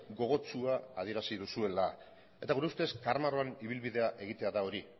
gogotsua adierazi duzuela eta gure ustez karramarroan ibilbidea egitea da hori